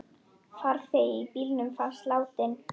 Farþegi í bílnum fannst látinn.